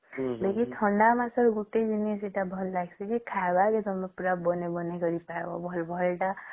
ବାକି ଥଣ୍ଡା ମାସରେ ଗୋଟେ ଜିନିଷ ଭଲ ଲାଗିଛେ କି ଖାଇବାର ଜିନିଷ ତା ବାନେଇକରି କିରି ଖାଇବା ପୁରା ଭଲ ଭଲ ଟା